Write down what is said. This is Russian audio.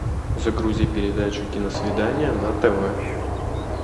загрузи передачу киносвидание на тв